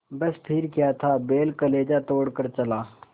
बस फिर क्या था बैल कलेजा तोड़ कर चला